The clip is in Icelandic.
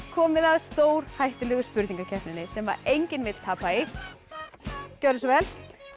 komið að stórhættulegu spurningakeppninni sem enginn vill tapa í gjörðu svo vel